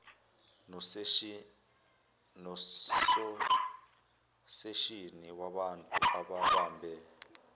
nososeshini wabantu ababambe